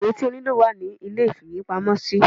awọn ìwé tí o niló wa ní ilé ìfíwepámọ sí